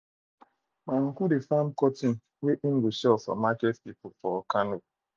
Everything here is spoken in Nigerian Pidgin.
my uncle dey farm cotton to sell for market people for kano